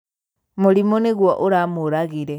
Mũrimũ nĩguo ũramũragire.